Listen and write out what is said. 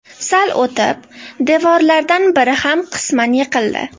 Sal o‘tib, devorlardan biri ham qisman yiqildi.